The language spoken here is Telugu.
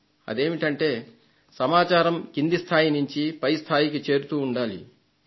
అదేమిటంటే సమాచారం కింది స్థాయి నుండి పై స్థాయికి చేరుతుండాలి అనేది